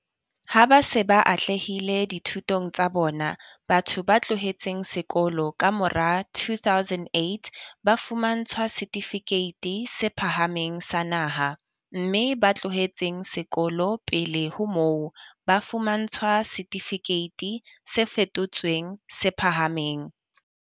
Ha ba se ba atlehile dithutong tsa bona, batho ba tlohetseng sekolo ka mora 2008 ba fumantshwa setifikeiti se phahameng sa naha, mme ba tlohetseng sekolo pele ho moo, ba fumantshwa setifikeiti se fetotsweng se phahameng.